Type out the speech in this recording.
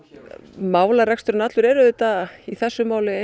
málareksturinn allur er í þessu máli